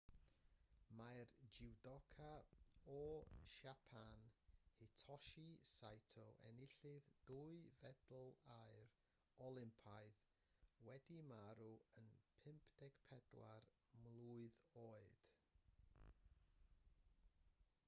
mae'r jwdoca o siapan hitoshi saito enillydd dwy fedal aur olympaidd wedi marw yn 54 mlwydd oed